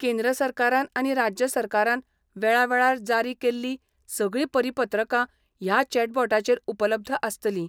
केंद्र सरकारान आनी राज्य सरकारान वेळावेळार जारी केल्ली सगळी परीपत्रका ह्या चॅटबोटाचेर उपलब्ध आसतली.